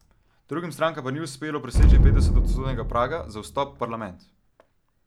Drugim strankam pa ni uspelo preseči petodstotnega praga za vstop parlament.